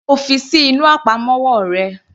Mo fi ṣí inú àpamọ́wọ́ rẹ.